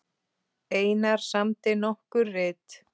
Einar samdi nokkur rit